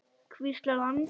hvíslar hann.